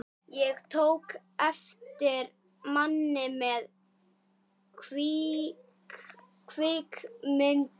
Ég tók eftir manni með kvikmyndavél.